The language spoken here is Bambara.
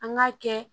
An k'a kɛ